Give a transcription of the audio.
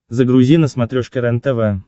загрузи на смотрешке рентв